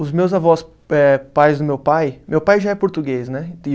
Os meus avós, eh pais do meu pai, meu pai já é português, né?